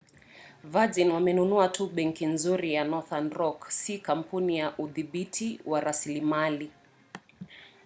virgin wamenunua tu 'benki nzuri' ya northern rock si kampuni ya udhibiti wa rasilimali